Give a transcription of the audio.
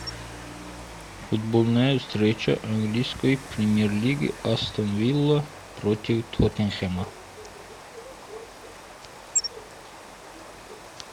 футбольная встреча английской премьер лиги астон вилла против тоттенхэма